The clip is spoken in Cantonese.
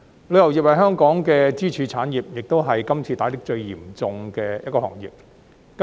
旅遊業是香港的支柱產業，亦是今次受打擊最嚴重的一個行業。